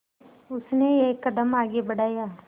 उसने एक कदम आगे बढ़ाया